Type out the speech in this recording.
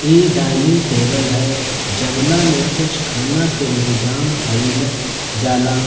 ई dining table है जमना में कुछ खाना के इन्तजाम कैल जाला।